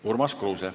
Urmas Kruuse.